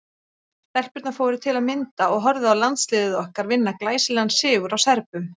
Stelpurnar fóru til að mynda og horfðu á landsliðið okkar vinna glæsilegan sigur á Serbum.